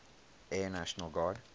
air national guard